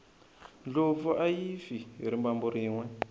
ndlopfu ayi fi hi rimbambu rinwe